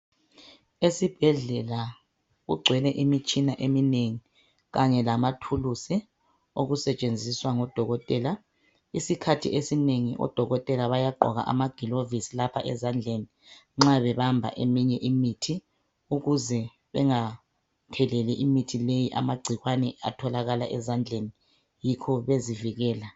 Esibhedlela kugcwele imitshina eminengi kanye lamathulizi okusetshenziswa ngodokotela, esikhathini esinengi odokotela bayagqoka amaglovisi nxabebamba eminye imithi ukuze bengatheleli imithi leyi amacikwane atholakala ezandleni yikho bezivikela.